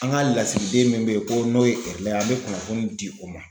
An ka lasigiden min be ye ko n'o ye Kɛrlɛ an be kunnafoni di o ma